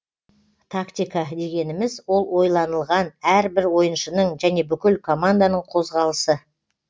тактика дегеніміз ол ойланылған әр бір ойыншының және бүкіл команданың қозғалысы